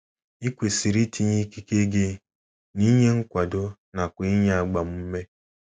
I kwesịrị itinye ikike gị n’inye nkwado nakwa n’inye agbamume.